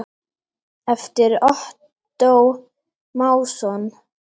eftir Ottó Másson